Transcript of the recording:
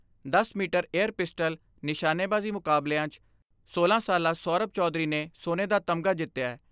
ਦਸ metre air pistol, ਨਿਸ਼ਾਨੇਬਾਜ਼ੀ ਮੁਕਾਬਲਿਆਂ 'ਚ ਸੋਲਾਂ ਸਾਲਾ ਸੋਰਭ ਚੌਧਰੀ ਨੇ ਸੋਨੇ ਦਾ ਤਮਗਾ ਜਿੱਤਿਐ।